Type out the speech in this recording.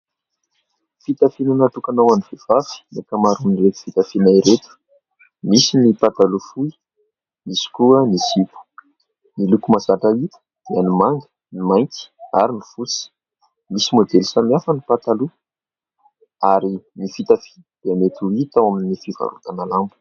Fitafiana natokana ho an'ny vehivavy ny ankamaron'ireto fitafiana ireto. Misy ny pataloa fohy, misy koa ny zipo. Ny loko mahazatra hita dia ny manga, ny mainty ary ny fotsy. Misy môdely samihafa ny pataloa ary ny fitafiana dia mety ho hita ao amin'ny fivarotana lamba.